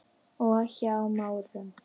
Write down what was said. og Hjá Márum.